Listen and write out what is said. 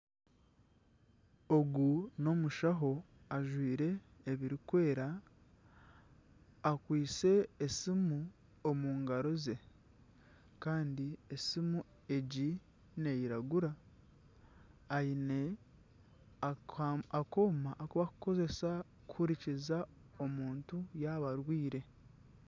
Ogu n'omushaho ajwaire ebirikwera, akwaitse esimu omu ngaro ze. Kandi esimu egi neiragura. Aine akooma akubakukozesa kuhurikiza omuntu yaaba arwaire.